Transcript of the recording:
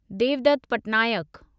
Devdutt Patnaik